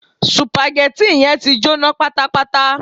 Sùpàgẹ́tì yẹn ti jóná pátápátá